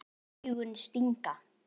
Augun stinga.